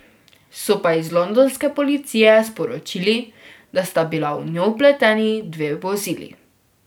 So pa iz londonske policije sporočili, da sta bila v njo vpleteni dve vozili.